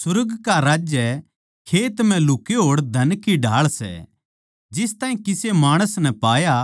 सुर्ग का राज्य खेत म्ह लुके होड़ धन की ढाळ सै जिस ताहीं किसे माणस नै पाया